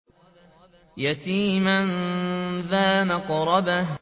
يَتِيمًا ذَا مَقْرَبَةٍ